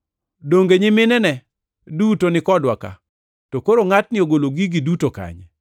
Donge nyiminene duto ni kodwa ka? To koro ngʼatni ogolo gigi duto kanye?”